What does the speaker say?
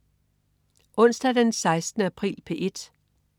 Onsdag den 16. april - P1: